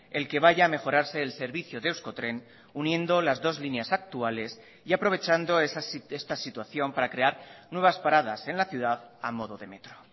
el que vaya a mejorarse el servicio de euskotren uniendo las dos líneas actuales y aprovechando esta situación para crear nuevas paradas en la ciudad a modo de metro